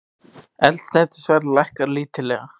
Eldsneytisverð lækkar lítillega